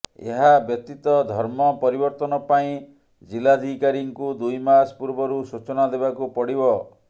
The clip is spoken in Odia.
ଏହା ବ୍ୟତୀତ ଧର୍ମ ପରିବର୍ତ୍ତନ ପାଇଁ ଜିଲ୍ଲାଧିକାରୀଙ୍କୁ ଦୁଇ ମାସ ପୂର୍ବରୁ ସୂଚନା ଦେବାକୁ ପଡ଼ିବ